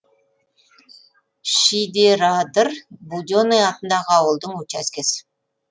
шидерадыр буденый атындағы ауылдың учаскесі